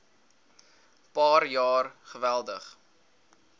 paar jaar geweldig